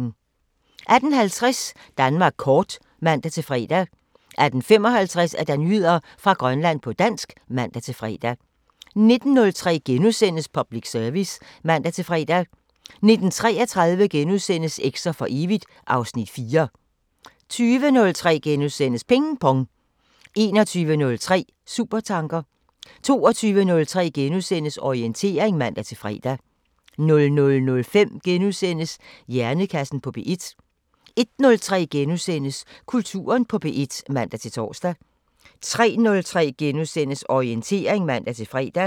18:50: Danmark kort (man-fre) 18:55: Nyheder fra Grønland på dansk (man-fre) 19:03: Public Service *(man-fre) 19:33: Eks'er for evigt (Afs. 4)* 20:03: Ping Pong * 21:03: Supertanker 22:03: Orientering *(man-fre) 00:05: Hjernekassen på P1 * 01:03: Kulturen på P1 *(man-tor) 03:03: Orientering *(man-fre)